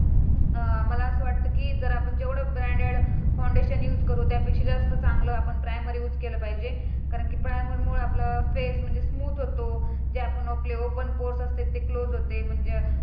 अं मला असं वाटतं की जेवढे ब्रॅण्डेड फाउंडेशन युज करू त्यापेक्षा जास्त चांगल आपण प्रायमर युज केलं पाहिजे. कारण प्रायमर मुळे आपला फेस स्मुथ होत. जे आपण ओकले ओपन बोंथ असते ते क्लोझ होते. ते मंज